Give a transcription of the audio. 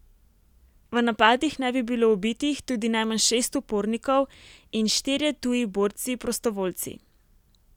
V napadih naj bi bilo ubitih tudi najmanj šest upornikov in štirje tuji borci prostovoljci.